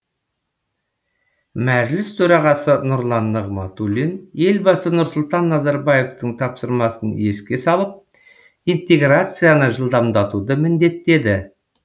мәжіліс төрағасы нұрлан нығматулин елбасы нұрсұлтан назарбаевтың тапсырмасын еске салып интеграцияны жылдамдатуды міндеттеді